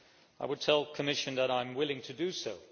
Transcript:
I would tell the Commission that I am willing to do so.